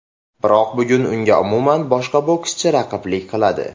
Biroq bugun unga umuman boshqa bokschi raqiblik qiladi.